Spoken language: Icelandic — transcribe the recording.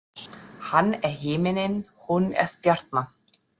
Hann er himinninn, hún er stjarnan.